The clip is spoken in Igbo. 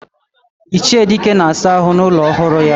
Iche Dike na asa ahu na ulo ohuru ya.